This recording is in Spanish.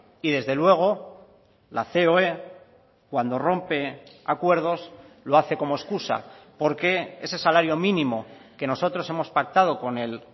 y desde luego la coe cuando rompe acuerdos lo hace como excusa porque ese salario mínimo que nosotros hemos pactado con el